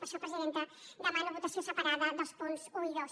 per això presidenta demano votació separada dels punts un i dos